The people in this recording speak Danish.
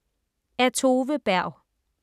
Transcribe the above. Af Tove Berg